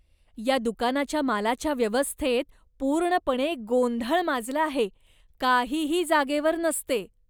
या दुकानाच्या मालाच्या व्यवस्थेत पूर्णपणे गोंधळ माजला आहे. काहीही जागेवर नसते.